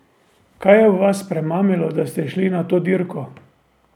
Kaj je vas premamilo, da ste šli na to dirko?